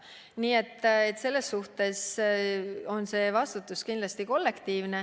Nii et see vastutus on kollektiivne.